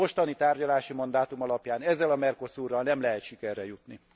A mostani tárgyalási mandátum alapján ezzel a Mercosurral nem lehet sikerre jutni.